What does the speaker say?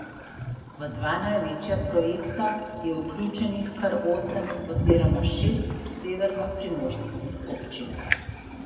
V dva največja projekta je vključenih kar osem oziroma šest severnoprimorskih občin.